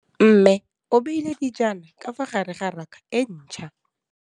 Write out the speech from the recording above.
Mmê o beile dijana ka fa gare ga raka e ntšha.